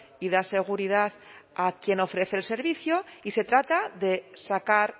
y da seguridad a quien ofrece el servicio y se trata de sacar